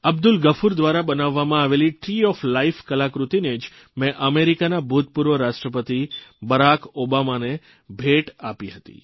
અબ્દુલ ગફુર દ્વારા બનાવવામાં આવેલી ત્રી ઓએફ લાઇફ જીવન વૃક્ષ કલાકૃતિને જ મે અમેરિકાના ભૂતપૂર્વ રાષ્ટ્રપતિ બરાક ઓબામાને ભેટ આપી હતી